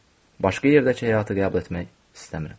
Başqa yerdəki həyatı qəbul etmək istəmirəm.